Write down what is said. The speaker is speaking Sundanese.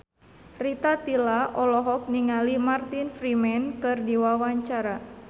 Rita Tila olohok ningali Martin Freeman keur diwawancara